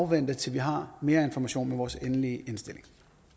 vente til vi har mere information med vores endelige indstilling